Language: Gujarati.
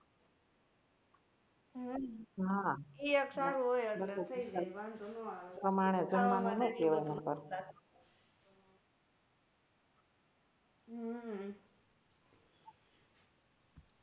હમ ઈ એક સારુ હોય એટલે થઇ જાય વાન્ધો નો આવે હમ